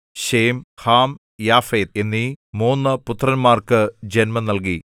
Shem Ham Japheth എന്നീ മൂന്ന് പുത്രന്മാർക്ക് ജന്മം നൽകി